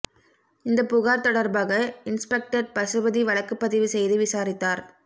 இந்தப் புகார் தொடர்பாக இன்ஸ்பெக்டர் பசுபதி வழக்குபதிவு செய்து விசாரித்தார்